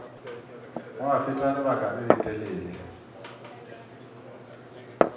gwa feta lebaka le letelele